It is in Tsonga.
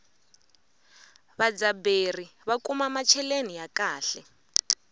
vadzaberi va kuma macheleni ya kahle